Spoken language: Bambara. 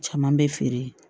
Caman bɛ feere